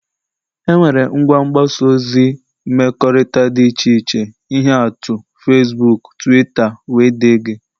enwere ngwa mgbasa ozi mmekọrịta dị iche iche ihe atụ Fesbuuk, Twitta wdg